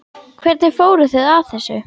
Hvernig fóruð þið að þessu?